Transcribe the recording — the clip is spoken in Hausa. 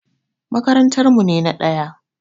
Makarantar mu ne na ɗaya.